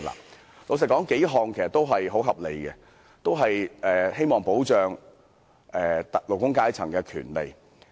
坦白說，數項建議也很合理，同樣希望保障勞工階層的權利。